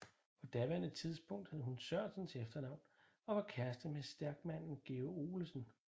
På daværende tidspunkt hed hun Sørensen til efternavn og var kæreste med stærkmanden George Olesen